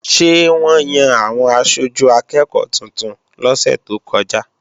Ṣé wọ́n yan àwọn aṣojú akẹ́ẹ̀kọ́ tuntun lọ́sẹ̀ tó kọjá?